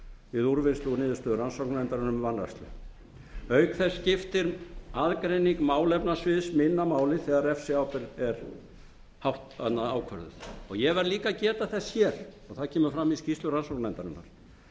við úrvinnslu og niðurstöðu rannsóknarnefndarinnar um vanrækslu auk þess skiptir aðgreining málefnasviðs minna máli þegar refsiábyrgð er ákvörðuð ég verð líka að geta þess hér og það kemur fram í skýrslu rannsóknarnefndarinnar